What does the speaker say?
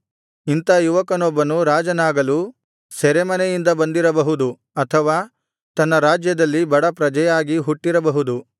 ಇಂಥ ಯುವಕನೊಬ್ಬನು ರಾಜನಾಗಲು ಸೆರೆಮನೆಯಿಂದ ಬಂದಿರಬಹುದು ಅಥವಾ ತನ್ನ ರಾಜ್ಯದಲ್ಲಿ ಬಡ ಪ್ರಜೆಯಾಗಿ ಹುಟ್ಟಿರಬಹುದು